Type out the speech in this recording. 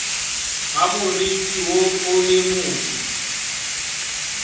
ga moriti woo le motho